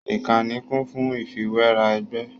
Ìkànnì kún fún ìfiwéra ẹgbẹ́